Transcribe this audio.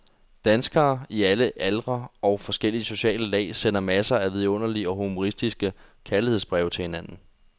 Danskere i alle aldre og fra forskellige sociale lag sender masser af vidunderlige og humoristiske kærlighedsbreve til hinanden.